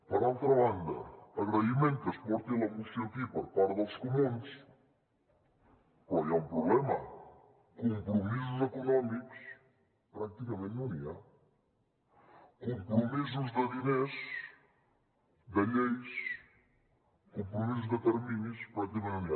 per altra banda agraïment que es porti la moció aquí per part dels comuns però hi ha un problema compromisos econòmics pràcticament no n’hi ha compromisos de diners de lleis compromisos de terminis pràcticament no n’hi ha